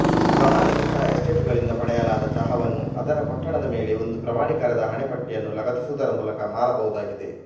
ಪ್ರಮಾಣೀಕೃತ ಎಸ್ಟೇಟುಗಳಿಂದ ಪಡೆಯಲಾದ ಚಹಾವನ್ನು ಅದರ ಪೊಟ್ಟಣದ ಮೇಲೆ ಒಂದು ಪ್ರಮಾಣೀಕರಣದ ಹಣೆಪಟ್ಟಿಯನ್ನು ಲಗತ್ತಿಸುವುದರ ಮೂಲಕ ಮಾರಬಹುದಾಗಿದೆ